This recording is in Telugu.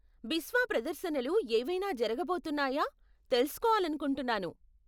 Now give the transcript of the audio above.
బిస్వా ప్రదర్శనలు ఏవైనా జరగబోతున్నాయా తెలుసుకోవాలనుకుంటున్నాను.